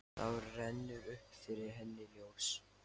Þá rennur upp fyrir henni ljós.